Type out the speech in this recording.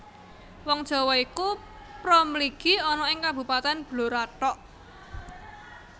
Wong Jawa iku pra mligi ana ing Kabupatèn Blora thok